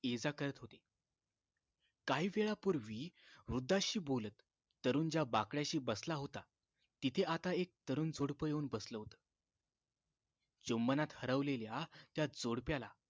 ये जा करत होते काही वेळापूर्वी वृद्धाशी बोलत तरुण ज्या बाकड्याशी बसला होता तिथं आता एक तरुण जोडपं बसलं होत चुंबनात हरवलेल्या त्या जोडप्याला